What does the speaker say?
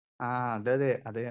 speaker 2 ആ അത തെ